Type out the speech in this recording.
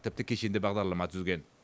тіпті кешенді бағдарлама түзген